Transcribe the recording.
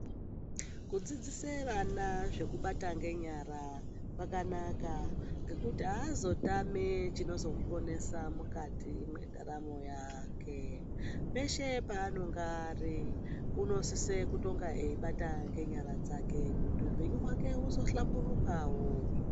Kudzidzise vana zvekubata ngenyara kwakanaka ngekuti aazotami chinozomuponasa mwukati mwendaramo yake. Peshe paanonga ari unosise kutonga eibata ngenyara dzake kuti upenyu hwake uzohlamburukawo.